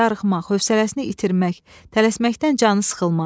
darıxmaq, hövsələsini itirmək, tələsməkdən canı sıxılmaq.